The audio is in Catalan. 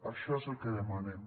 això és el que demanem